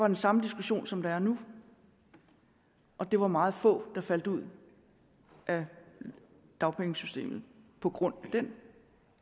den samme diskussion som der er nu og det var meget få der faldt ud af dagpengesystemet på grund af den